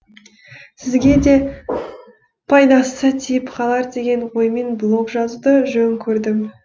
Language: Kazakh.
сізге де пайдасы тиіп қалар деген оймен блог жазуды жөн көрдім